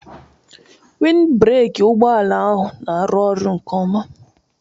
Wind breki ụgbọala ahụ n'arụ ọrụ nke ọma